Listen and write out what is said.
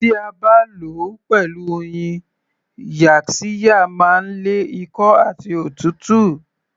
Tí a bá lò ó pẹ̀lú oyin yaxiya máa ń lé ikọ́ àti òtútù